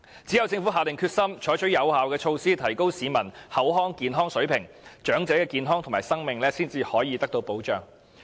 只有政府下定決心採取有效措施，提高市民的口腔健康水平，長者的健康和生命才能獲得保障。